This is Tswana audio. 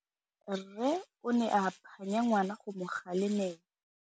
Rre o ne a phanya ngwana go mo galemela.